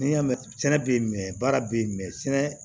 N'i y'a mɛn sɛnɛ bɛ ye mɛ baara bɛ yen mɛ sɛnɛ